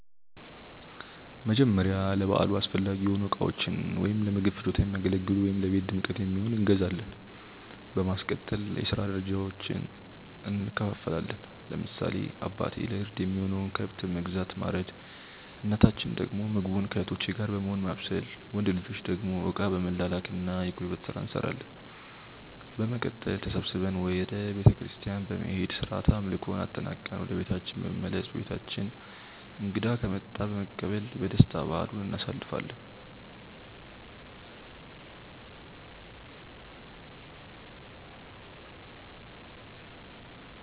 መጀመርያ ለበዓሉ አስፈላጊ የሆኑ እቃዎችን(ለምግብ ፍጆታ የሚያገለግሉ ወይም ለቤት ድምቀት የሚሆን)እንገዛዛለን። በማስቀጠል የስራ ድርሻዎችን እንከፋፈላለን። ለምሳሌ አባቴ ለእርድ የሚሆነውን ከብት በመግዛት ማረድ እናታችን ደግሞ ምግቡን ከእህቶቼ ጋር በመሆን ማብሰል። ወንድ ልጆች ደግሞ እቃ በመላላክ እና የጉልበት ስራ እንሰራለን። በመቀጠል ተሰብስበን ወደ ቤተክርስቲያን በመሄድ ስርዓተ አምልኮውን አጠናቅቀን ወደ ቤታችን በመመለስ በቤታችን እንግዳ ከመጣ በመቀበል በደስታ በዓሉን እናሳልፋለን።